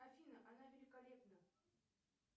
афина она великолепна